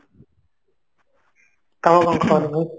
ତମେ କଣ ଖାଇଲ ଭାଇ?